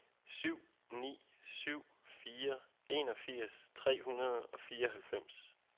syv ni syv fire enogfirs tre hundrede og fireoghalvfems